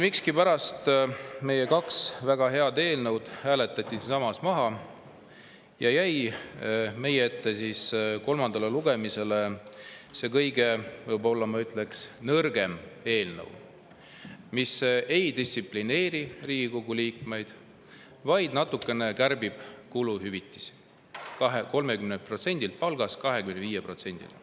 Miskipärast meie kaks väga head eelnõud hääletati siinsamas maha ja meie ette jäi kolmandaks lugemiseks, ma ütleks, see võib-olla kõige nõrgem eelnõu, mis ei distsiplineeri Riigikogu liikmeid, vaid natukene kärbib nende kuluhüvitisi: 30%-lt nende palgast 25%‑le.